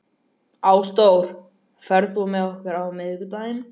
Ásdór, ferð þú með okkur á miðvikudaginn?